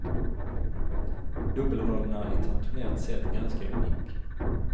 Dubbelrollen är internationellt sett ganska unik.